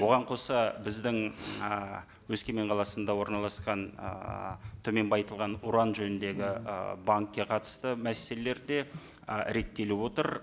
оған қоса біздің ыыы өскемен қаласында орналасқан ыыы төмен байытылған уран жөніндегі ы банкке қатысты мәселелер де ы реттеліп отыр